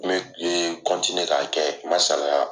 Kun bɛ kun ye k'a kɛ ma salaya.